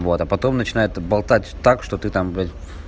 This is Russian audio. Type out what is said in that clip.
вот а потом начинает болтать так что ты там блядь